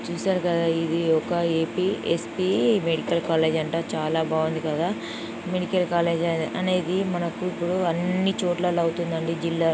చూశారు కదా ఇది ఒక ఏపీ స్పి మెడికల్ కాలేజీ అంట. చాల బాగుంది కదా. మెడికల్ కాలేజీ అనేది మనకు ఇప్పుడు అని చోట్ల అవుతుంది .జిల్లా--